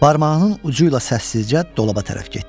Barmağının ucuyla səssizcə dolaba tərəf getdi.